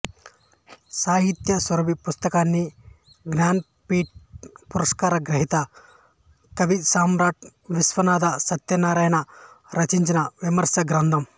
సాహిత్య సురభి పుస్తకాన్ని జ్ఞానపీఠ్ పురస్కార గ్రహీత కవిసమ్రాట్ విశ్వనాథ సత్యనారాయణ రచించిన విమర్శ గ్రంథం